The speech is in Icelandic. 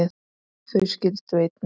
Þau skildu einnig.